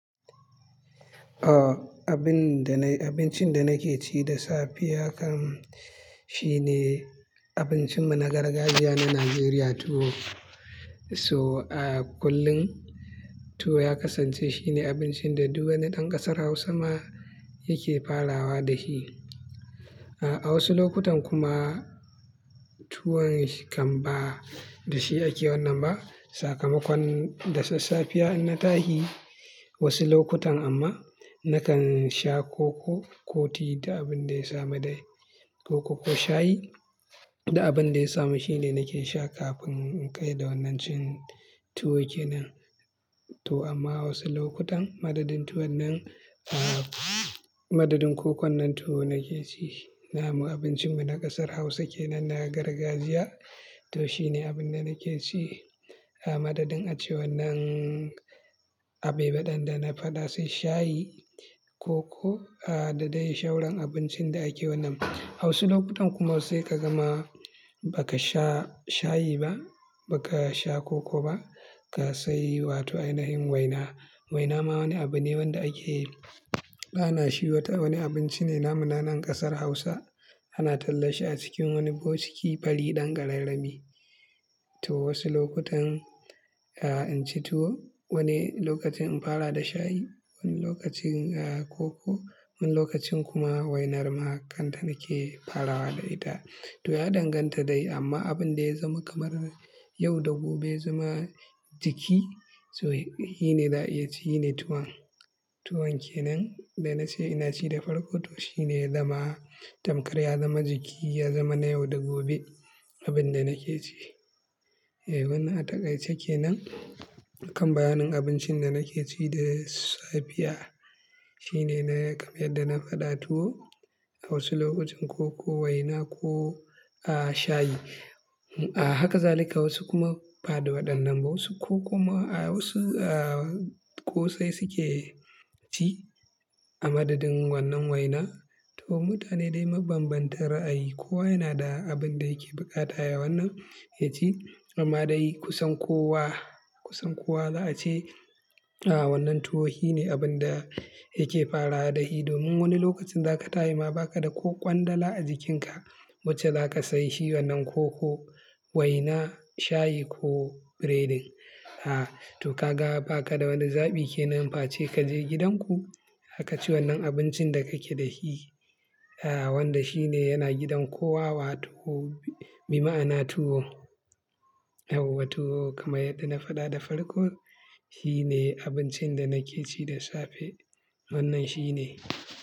Abincin da nake ci da safiya kam shine abincin mu na gargajiya na Najeriya tuwo so ah! Kullum tuwo ya kasance shine abincin da duk wani ɗan ƙasar Hausa ma yake farawa da shi. A wasu lokutan kuma tuwon kam ba da shi ake wannan ba. Sakamakon da sassafiya in na tashi wasu lokutan amma nakan sha koko ko ti da abin da ya samu dai. Koko ko shayi duk abin da ya samu shine nake sha kafin in kai da wannan cin tuwo kenan. To amma wasu lokutan madadin tuwon nan, madadin kokon nan tuwo nake ci. Na mu abincin mu na ƙasar Hausa kenan na gargajiya to shine abin da nake ci. Madadin a ce wannan abai ba ɗin dana faɗa sai shayi, koko da dai shauran abincin da ake wannan. Wasu lokutan kuma sai ka gama ba ka sha shayi ba, ba ka sha koko ba, ka sayi wato ainahin waina. Waina ma wani abu ne wanda ake ba na shi wata wani abinci ne na mu na nan ƙasar Hausa. Ana tallashe a cikin wani bokiti fari ɗan ƙararrami. To wasu lokutan in ci tuwo, wani lokacin in fara da shayi, wani lokacin koko, wani lokacin kuma waina ma kanta nake farawa da ita. To ya danganta dai amma abin da ya zama kamar yau da gobe zama jiki, shine yace shine tuwon. Tuwon kenan da na ce ina ci da farko to shine ya zama tamkar ya zama jiki, ya zama na yau da gobe abin da nake ci. Wannan ataƙaice kenan kan bayanin abincin da nake ci da safe. Shine kamar yadda na faɗa tuwo, a wasu lokutan koko, waina ko shayi. Haka zalika wasu kuma ba da waɗannan ba wasu ko kuma wasu ƙosai suke ci a madadin wannan waina. To mutane dai mabanbanta ra'ayi. Kowa yana da abin da yake buƙata yawan nan ya ci amma dai kusan kowa, kusan kowa za a ce wannan tuwo shine abin da yake fara da shi. Domin wani lokacin zaka ta yi ma baka da ƙwandala a jikinka wacce zaka sayi shi wannan koko, waina, shayi ko breading. To ka ga baka da wani zaɓi kenan face kaje gidan ku aka ci wannan abincin da kake da shi wanda shine yana gidan kowa wato bima'ana tuwo. To kamar yadda na faɗa da farko shine abincin da nake ci da safe wannan shine.